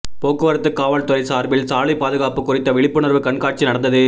போக்குவரத்து காவல் துறை சார்பில் சாலை பாதுகாப்பு குறித்த விழிப்புணர்வு கண்காட்சி நடந்தது